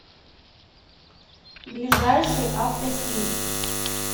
ближайший автостиль